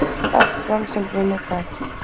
Allt brann sem brunnið gat